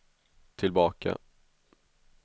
tillbaka